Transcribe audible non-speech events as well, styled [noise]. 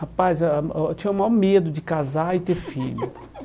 Rapaz, ah oh eu tinha o maior medo de casar e ter filho. [laughs]